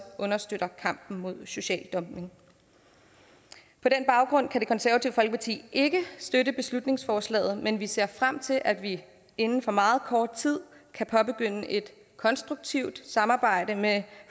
understøtter kampen mod social dumping på den baggrund kan det konservative folkeparti ikke støtte beslutningsforslaget men vi ser frem til at vi inden for meget kort tid kan påbegynde et konstruktivt samarbejde med